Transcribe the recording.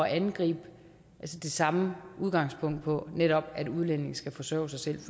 angribe det samme udgangspunkt på netop at udlændinge skal forsørge sig selv